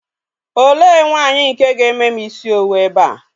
Olee nwaanyi nke ga-eme m isi owu ebe a?